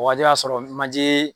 O waati y'a sɔrɔ manje